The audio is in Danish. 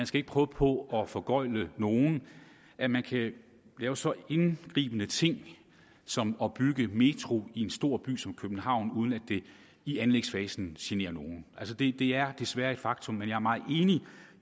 skal prøve på at foregøgle nogen at man kan lave så indgribende en ting som at bygge en metro i en stor by som københavn uden at det i anlægsfasen generer nogen det er desværre et faktum men jeg er meget enig